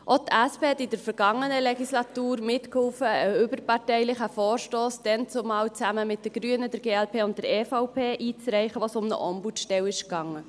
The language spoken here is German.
Auch die SP half in der vergangenen Legislatur mit, einen überparteilichen Vorstoss – dazumal zusammen mit den Grünen, der glp und der EVP – einzureichen, bei dem es um eine Ombudsstelle ging .